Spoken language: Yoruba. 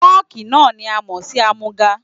Fọ́ọ̀kì náà ni a mọ̀ sí àmúga.